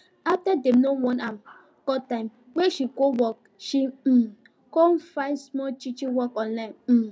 after dem no warn am cut time wey she go work she um go find small teaching work online um